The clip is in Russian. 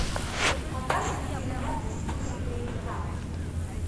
показывай фильмок в духе боевика